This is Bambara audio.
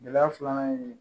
Gɛlɛya filanan ye